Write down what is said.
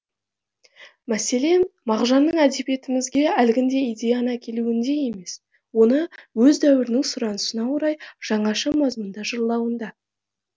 мәселе мағжанның әдебиетіміге әлгіндей идеяны әкелуінде емес оны өз дәуірінің сұранысына орай жаңаша мазмұнда жырлауында